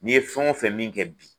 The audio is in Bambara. N'i ye fɛn wo fɛn min kɛ bi